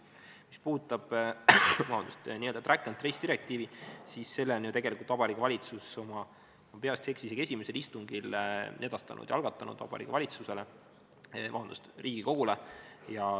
Mis puudutab n-ö track-and-trace-direktiivi, siis selle on ju tegelikult Vabariigi Valitsus, kui ma peast öeldes ei eksi, isegi oma esimesel istungil algatanud ja edastanud Riigikogule.